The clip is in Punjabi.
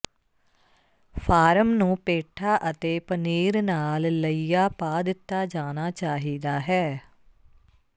ਫਾਰਮ ਨੂੰ ਪੇਠਾ ਅਤੇ ਪਨੀਰ ਨਾਲ ਲਈਆ ਪਾ ਦਿੱਤਾ ਜਾਣਾ ਚਾਹੀਦਾ ਹੈ